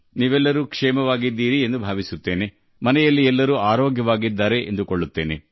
ನೀವೆಲ್ಲರೂ ಕ್ಷೇಮವಾಗಿದ್ದೀರಿ ಮನೆಯಲ್ಲಿ ಎಲ್ಲರೂ ಕ್ಷೇಮವಾಗಿದ್ದೀರಿ ಎಂದು ನಾನು ಭಾವಿಸುತ್ತೇ